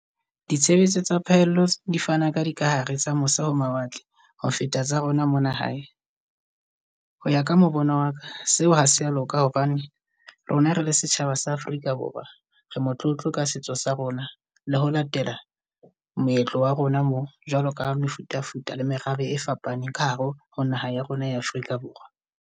Ditshebeletso tsa phaello di fana ka dikahare tsa mose ho mawatle ho feta tsa rona mona hae. Ho ya ka mo bona wa ka seo ha se a loka hobane rona rele setjhaba sa Afrika Borwa ree motlotlo ka setso sa rona le ho latela moetlo wa rona mo. Jwalo ka ha le mefuta, futa le merabe e fapaneng ka hare ho naha ya rona ya Afrika Borwa.